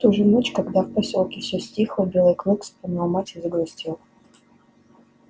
в ту же ночь когда в посёлке всё стихло белый клык вспомнил мать и загрустил